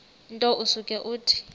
nto usuke uthi